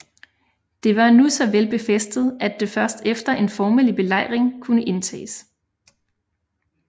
Det var nu så vel befæstet at det først efter en formelig belejring kunne indtages